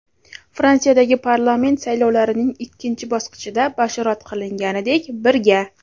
Fransiyadagi parlament saylovlarining ikkinchi bosqichida bashorat qilinganidek, "Birga!"